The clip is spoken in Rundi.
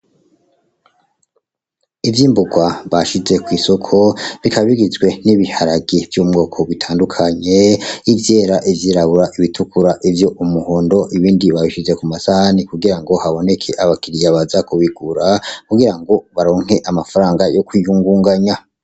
Ivyimbugwa bashize kw'isoko. Bikaba bigizwe n'ibiharage vyomubwoko butandukanye: ivyera. ivyirabura, ibitukura, ivy'umuhondo ; ibindi babishize kumasahani kugirango haboneke abakiriya baza kubigura, kugirango baronke amafaranga yokwiyungunganya.